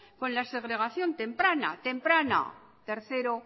con la segregación temprana tercera